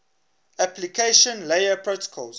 application layer protocols